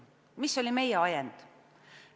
Mis oli meie ajend?